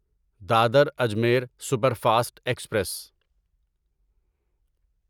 Dadar Ajmer superfast express